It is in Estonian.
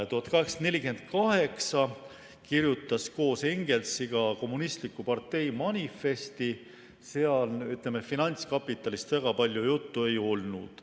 1848 kirjutas ta koos Engelsiga "Kommunistliku partei manifesti", milles finantskapitalist eriti palju juttu ei olnud.